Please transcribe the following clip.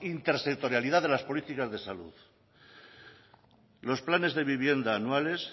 intersectorialidad de las políticas de salud los planes de vivienda anuales